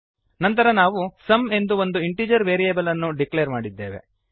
ನಂತರ ನಾವು ಸುಮ್ ಎಂದು ಒಂದು ಇಂಟಿಜರ್ ವೇರಿಯೇಬಲ್ ಅನ್ನು ಡಿಕ್ಲೇರ್ ಮಾಡಿದ್ದೇವೆ